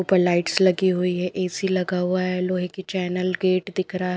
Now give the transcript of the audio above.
ऊपर लाइट्स लगी हुई है ए_सी लगा हुआ है लोहे की चैनल गेट दिख रहा है।